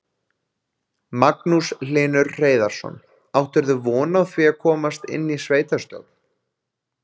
Magnús Hlynur Hreiðarsson: Áttirðu von á því að komast inn í sveitarstjórn?